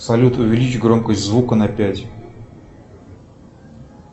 салют увеличь громкость звука на пять